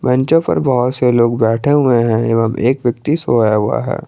बेचो पर बहुत से लोग बैठे हुए हैं एवं एक व्यक्ति सोया हुआ है।